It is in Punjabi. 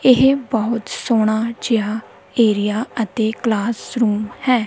ਇਹ ਬਹੁਤ ਸੋਹਣਾ ਜਿਹਾ ਏਰੀਆ ਅਤੇ ਕਲਾਸਰੂਮ ਹੈ।